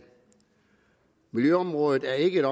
miljøområdet er ikke